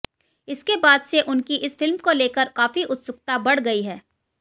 इसके बाद से उनकी इस फिल्म को लेकर काफी उत्सुकता बढ़ गई है